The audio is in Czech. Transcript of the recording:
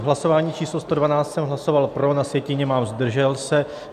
U hlasování číslo 112 jsem hlasoval pro, na sjetině mám zdržel se.